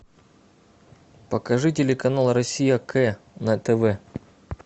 покажи телеканал россия к на тв